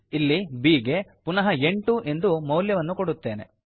ಇಲ್ಲಿ b ಗೆ ಪುನಃ ಎಂಟು ಎಂದು ಮೌಲ್ಯವನ್ನು ಕೊಡುತ್ತೇನೆ